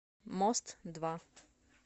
мост два